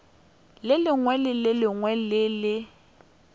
lekaleng le lengwe le le